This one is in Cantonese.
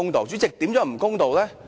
主席，如何不公道呢？